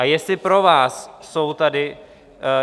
A jestli pro vás jsou tady...